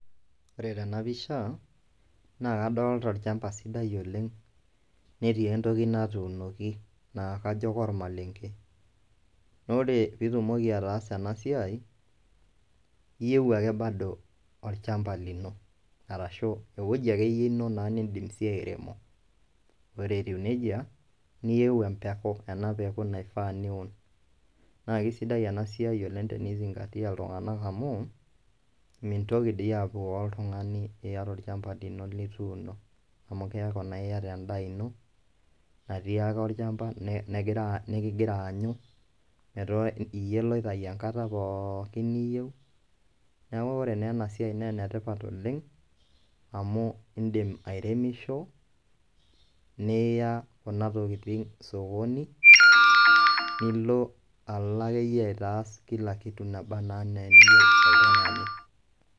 Ore tena pisha naa kadolta olchamba sidai oleng' netii entoki natuunoki naa kajo kormaleng'e , na ore piitumoki ataasa ena siai iyeu ake bado olchamba lino arashu ewoji ake yie ino naa niindim sii airemo. Ore etiu neija niyeu empeku ena peku nifaa niun, naa kesidai ena siai oleng' tenizing'atia iltung'anak amu mintoki dii apukoo oltung'ani iyata olchamba lino lituuno amu keeku naa iyata endaa ino natii ake olchamba negira nekigira aanyu metaa iyie loitayu enkata pookin niyeu. Neeku ore naa ena siai nee ene tipat oleng' amu iindim airemisho niya kuna tokitin sokoni nilo alo ake yie aitaas kila kitu nabaa naa eniyeu oltung'ani.